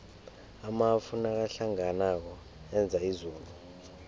amafu nakahlanganako enza izulu